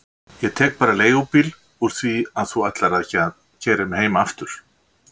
Ég tek bara leigubíl úr því að þú ætlar ekki að keyra mig heim aftur.